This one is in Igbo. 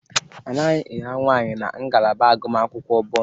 Adịghị ira nwaanyị na ngalaba agụmakwụkwọ Botani.